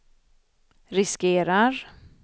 riskerar